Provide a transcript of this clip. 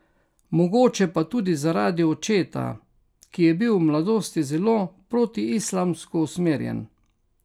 Mogoče pa tudi zaradi očeta, ki je bil v mladosti zelo protiislamsko usmerjen.